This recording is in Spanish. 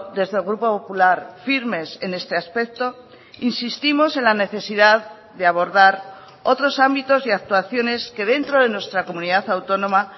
desde el grupo popular firmes en este aspecto insistimos en la necesidad de abordar otros ámbitos y actuaciones que dentro de nuestra comunidad autónoma